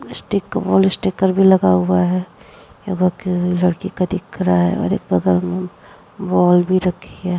Stick wall sticker भी लगा हुआ है। यह लड़की का दिख रहा है और एक बगल में बॉल भी रखी है।